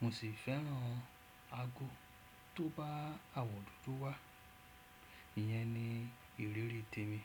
Mo sì fẹ́ràn ago tó bá àwọ̀ dúdú wá. Iyẹn ni ìrírí tèmi.